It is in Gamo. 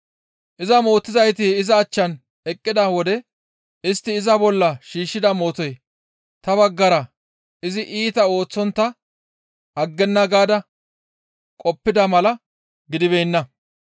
Iza mootizayti iza achchan eqqida wode istti iza bolla shiishshida mootoy ta baggara izi iita ooththontta aggenna gaada qoppida mala gidibeenna.